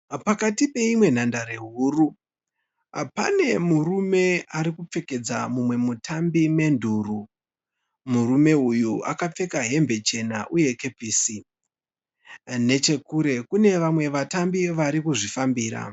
Pakati peimwe nhandare huru pdnemurume arikupfekedza mumwe mutambi menduru. Murume uyu akapfeka hembe chena uye kepisi. Nechekure kunevamwe vatambi varikuzvifambira.